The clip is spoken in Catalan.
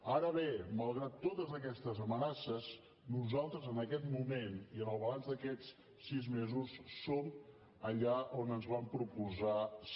ara bé malgrat totes aquestes amenaces nosaltres en aquest moment i en el balanç d’aquests sis mesos som allà on ens vam proposar ser